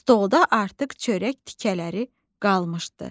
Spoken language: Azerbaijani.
Stolda artıq çörək tikələri qalmışdı.